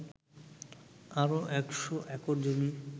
আরও ১০০ একর জমি